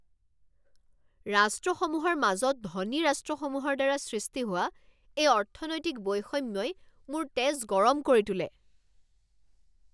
ৰাষ্ট্ৰসমূহৰ মাজত ধনী ৰাষ্ট্ৰসমূহৰ দ্বাৰা সৃষ্টি হোৱা এই অৰ্থনৈতিক বৈষম্যই মোৰ তেজ গৰম কৰি তোলে।